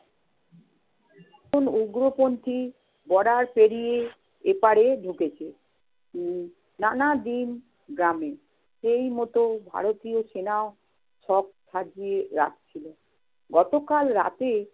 একজন উগ্রপন্থী border পেড়িয়ে এ পাড়ে ঢুকেছে। উম নানাবিল গ্রামে সেই মত ভারতীয় সেনাও সব সাজিয়ে রাখছিল। গতকাল রাতে